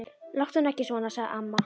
Láttu nú ekki svona. sagði amma.